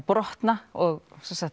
brotna og